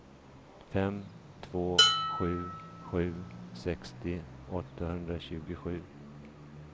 fem två sju sju sextio åttahundratjugosju